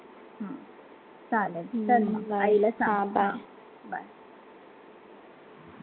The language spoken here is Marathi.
चालेल चल म, आई ला सांग bye